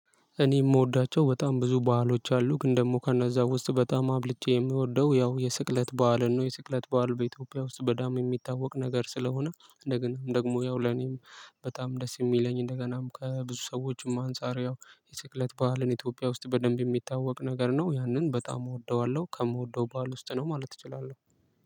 እኔ እምወዳቸው በጣም ብዙ በዓሎች አሉ ግን ደግሞ ከነዛ ውስጥ በጣም አብልጬ እምወደው ያው የስቅለት በዓልን ነው። የስቅለት በዓል በኢትዮጵያ ውስጥ በደንብ እሚታወቅ ነገር ስለሆነ እንደገናም ደግሞ ያው ለኔም በጣም ደስ እሚለኝ እንደገናም ከብዙ ሰዎችም አንጻርያው የስቅለት በዓልን ኢትዮጵያ ውስጥ በደንብ እሚታወቅ ነገር ነው። ያንን በጣም እወደዋለሁ ከምወደው በዓል ውስጥ ነው ማለት እችላለሁ።